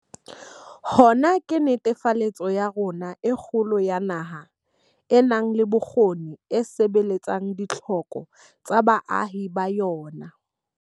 Hona ke netefaletso ya rona e kgolo ya naha e nang le bokgoni e sebeletsang ditlhoko tsa baahi ba yona.